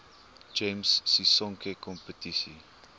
gems sisonke kompetisie